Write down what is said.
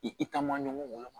I taama ɲɔgɔn woloma